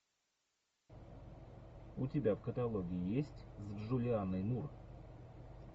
у тебя в каталоге есть с джулианной мур